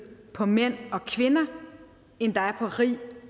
på mænd og kvinder end der er på rig